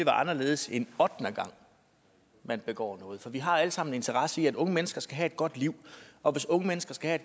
anderledes end ottende gang man begår noget for vi har alle sammen en interesse i at unge mennesker skal have et godt liv og hvis unge mennesker skal have